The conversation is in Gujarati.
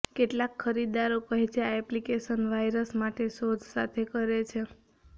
કેટલાક ખરીદદારો કહે છે આ એપ્લિકેશન વાયરસ માટે શોધ સાથે કરે છે